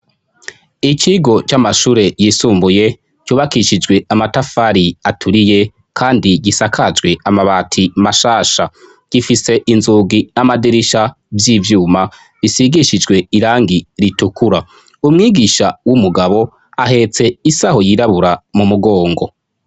Ikigo c'amashure yisumbuye cubakishijwe amatafari aturiye kandi gisakajwe amabati mashasha. Gifise inzugi n'amadirisha vy'ivyuma bisigishijwe irangi ritukura. Umwigisha w'umugabo ahetse isaho yirabura mu mugongo.